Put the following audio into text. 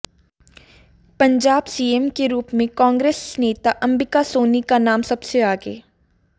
Punjab CM के रूप में कांग्रेस नेता अंबिका सोनी का नाम सबसे आगे